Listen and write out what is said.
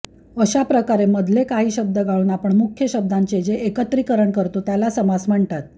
अशाप्रकारे मधले काही शब्द गाळून आपण मुख्य शब्दांचे जे एकत्रीकरण करतो त्याला समास म्हणतात